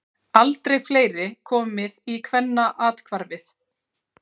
Aldrei fleiri komið í Kvennaathvarfið